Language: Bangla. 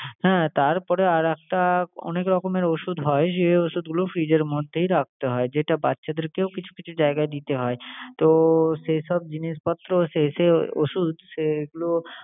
হ্যাঁ তারপরে আর একটা অনেক রকমের ওষুধ হয় যে ওষুধগুলো fridge এর মধ্যেই রাখতে হয়। যেটা বাচ্চাদেরকেও কিছু কিছু জায়গায় দিতে হয়। তো সে সব জিনিসপত্র, সে সে ওষুধ সেগুলো